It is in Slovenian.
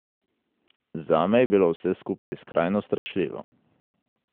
Zame je bilo vse skupaj skrajno strašljivo.